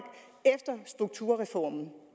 efter strukturreformen